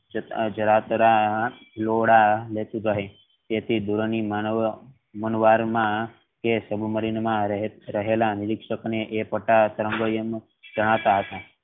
તેથી નદી માં સબમરીન માં રહેલા નિરીક્ષક ને એ પટ્ટા જાણતા હતા.